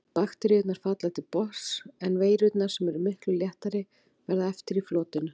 Bakteríurnar falla til botns en veirurnar, sem eru miklu léttari, verða eftir í flotinu.